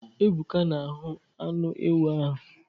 Ebuka na-ahuu anu ewu ahụ.